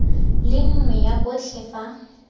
le nngwe ya botlhe fa